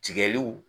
Tigɛliw